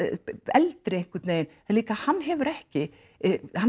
eldri einhvern veginn líka hann hefur ekki hann